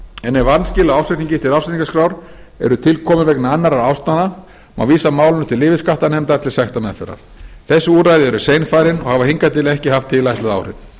en ef vanskil á ársreikningi til ársreikningaskrár eru tilkomin vegna annarra ástæðna má vísa málinu til yfirskattanefndar til sektarmeðferðar þessi úrræði eru seinfarin og hafa hingað til ekki haft tilætluð áhrif